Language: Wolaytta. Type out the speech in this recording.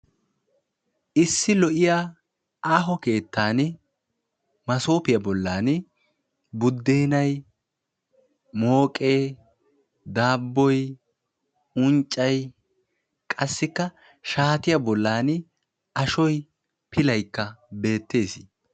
issi lo"iyaa aaho keettan maassopiya bollan buddenay, mooke, daaboy, unccay qassikka shaatiyaa bollan ashoy pilaykka beettees.